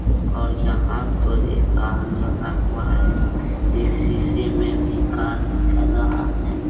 और यहां पर एक कार लगा हुआ है इस शीशे में भी कार दिख रहा है।